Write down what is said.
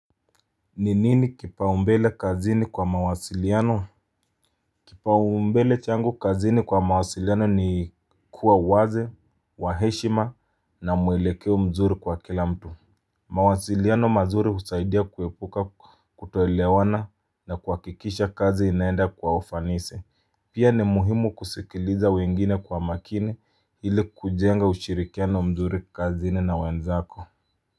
Ninini kipa umbele kazini kwa mawasiliano. Kipa umbele changu kazini kwa mawasiliano ni kuwa wazi wa heshima na mwelekeo mzuri kwa kila mtu. Mawasiliano mazuri husaidia kuepuka kutoelewana na kuhakikisha kazi inaenda kwa ufanisi. Pia ni muhimu kusikiliza wengine kwa makini hili kujenga ushirikiano mzuri kazini na wenzako. Kwa hiyo.